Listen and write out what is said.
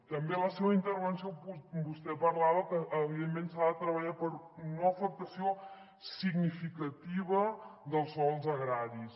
també en la seva intervenció vostè parlava que evidentment s’ha de treballar per una no afectació significativa dels sòls agraris